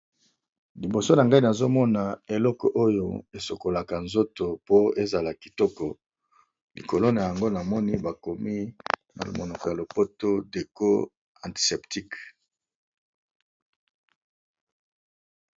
Liboso nangai nazomona eloko oyo esokolaka nzoto po ezala kitoko likolo nayango namoni na monoko ya lopoto déco antiseptique.